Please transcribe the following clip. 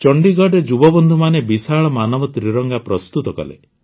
ଚଣ୍ଡିଗଡ଼ରେ ଯୁବବନ୍ଧୁମାନେ ବିଶାଳ ମାନବ ତ୍ରିରଙ୍ଗା ପ୍ରସ୍ତୁତ କଲେ